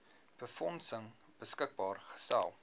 befondsing beskikbaar gestel